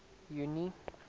junie